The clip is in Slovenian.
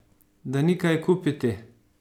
Da ni kaj kupiti!